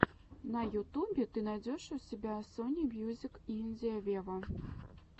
на ютубе ты найдешь у себя сони мьюзик индия вево